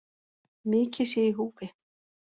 Mikið sé í húfi